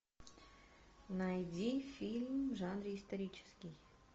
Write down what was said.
найди фильм в жанре исторический